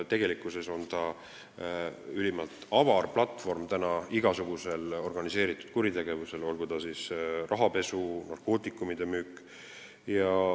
Tegelikkuses on see ülimalt avar platvorm, hõlmates igasugust organiseeritud kuritegevust, olgu see rahapesu või narkootikumide müük.